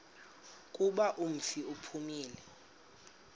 kuba umfi uphumile